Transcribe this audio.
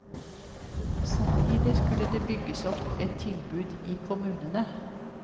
Samtidig skulle det bygges opp et tilbud i kommunene.